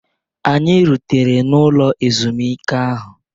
Anyị rutere n'ụlọ ezumike ahụ.